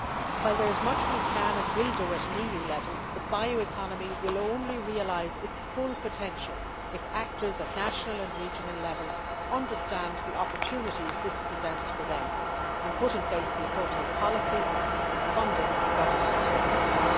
While there is much we can and will do at an EU level, the bioeconomy will only realise its full potential if actors at national and regional level understand the opportunities that this presents for them and put in place the appropriate policies, funding, and governance mechanisms.